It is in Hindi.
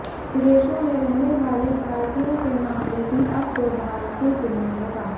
विदेशों में रहने वाले भारतीयों के मामले भी अब डोभाल के जिम्मे होगा